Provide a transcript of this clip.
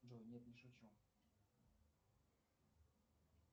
джой нет не шучу